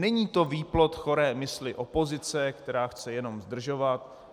Není to výplod choré mysli opozice, která chce jenom zdržovat.